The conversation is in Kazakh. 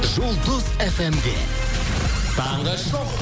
жұлдыз фмде таңғы шоу